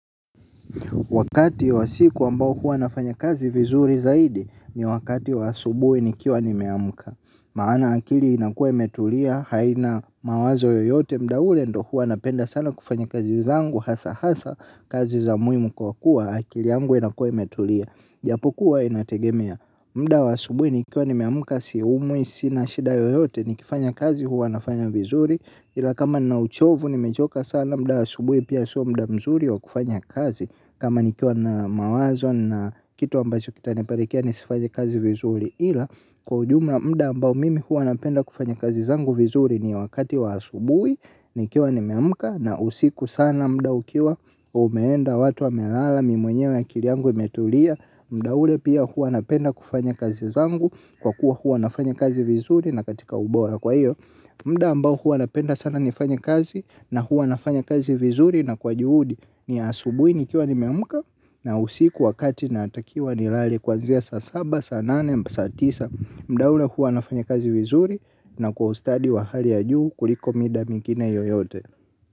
Wakati wa siku ambao huwa nafanya kazi vizuri zaidi ni wakati wa asubui nikiwa nimeamka. Maana akili inakua imetulia haina mawazo yoyote mda ule ndo huwa napenda sana kufanya kazi zangu hasa hasa kazi za muhimu kwa kuwa akili yangu inakua imetulia. Japokuwa inategemea mda wa asubui nikiwa nimeamka siumwi sina shida yoyote nikifanya kazi huwa nafanya vizuri. Ila kama nina uchovu nimechoka sana mda wa asubui pia sio mda mzuri wa kufanya kazi kama nikiwa na mawazo na kitu ambacho kitaniperekea nisifanye kazi vizuri ila kwa ujumla mda ambao mimi huwa napenda kufanya kazi zangu vizuri ni wakati wa asubui nikiwa nimeamka na usiku sana mda ukiwa umeenda watu wamelala mimi mwenyewe akili yangu imetulia mda ule pia huwa napenda kufanya kazi zangu kwa kuwa huwa nafanya kazi vizuri na katika ubora kwa iyo mda ambao huwa napenda sana nifanye kazi na huwa nafanya kazi vizuri na kwa juhudi ni asubui nikiwa nimeamka na usiku wakati natakiwa nilale kwanzia saa saba saa nane saa tisa. Mda huu ndio huwa nafanya kazi vizuri na kwa ustadi wa hali ya juu kuliko mida mingine yoyote.